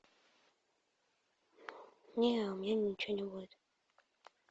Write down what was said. не у меня ничего не будет